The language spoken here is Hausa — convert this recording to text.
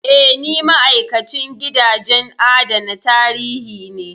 Eh, ni ma'aikacin gidajen adana tarihi ne.